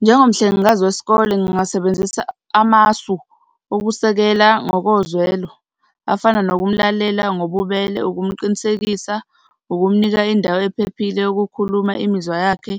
Njengomhlengikazi wesikole, ngingasebenzisa amasu okusekela ngokozwelo, afana nokumlalela ngobubele, ngokumqinisekisa, ukumnika indawo ephephile yokukhuluma imizwa yakhe,